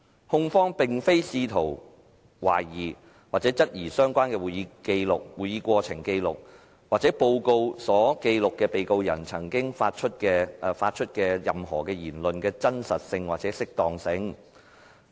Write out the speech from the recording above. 控方並非試圖懷疑或質疑相關的會議過程紀錄或報告所記錄被告人發出的任何言論的真實性或適當性。